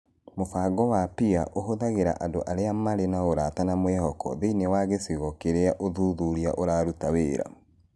Mũbango wa PEER ũhũthagĩra andũ arĩa marĩ na ũrata na mwĩhoko thĩinĩ wa gĩcigo kĩrĩa ũthuthuria ũraruta wĩra.